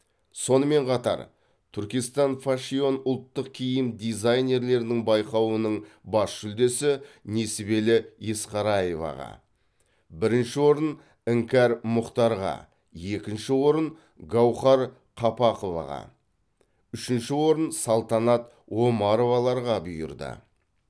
сонымен қатар түркистан файшон ұлттық киім дизайнерлерінің байқауының бас жүлдесі несібелі есқараеваға бірінші орын іңкәр мұхтарға екінші орын гаухар қапақоваға үшінші орын салтанат омароваларға бұйырды